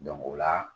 o la